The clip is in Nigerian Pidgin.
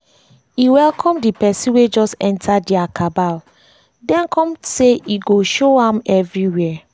e welcome d person wey just enter dia cabal den come say e go show am everywhere